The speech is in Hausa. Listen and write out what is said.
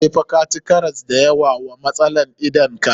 Sai fa ka ci karas da yawa wa matsalan idan ka.